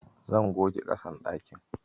Zan goge ƙasan ɗakin.